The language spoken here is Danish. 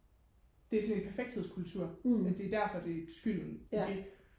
det er sådan en perfekthedskultur at det er derfor det skylden det